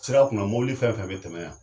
Sira kunna mɔbili fɛn fɛn bɛ tɛmɛ yan.